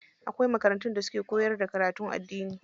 Akwai makarantun da suke koyar da karatun addini.